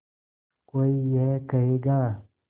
कोई ये कहेगा